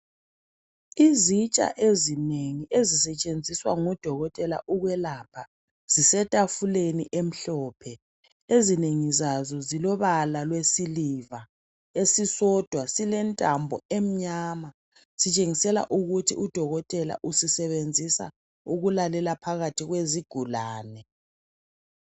Izitsha ezinengi ezisetshenziswa ngodokotela ukwelapha. Zisetafuleni emhlophe, ezinengi zazo zilobala lwesiliva .Esisodwa silentambo emnyama, sitshengisela ukuthi Udokothela usisebenzisa ukulalela phakathi kwezigulane.